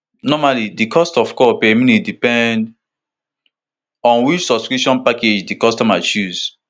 normally di cost of call per minute dey depend on which subscription package di customer choose